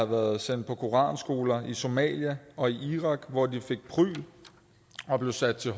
været sendt på koranskoler i somalia og irak hvor de fik prygl og blev sat til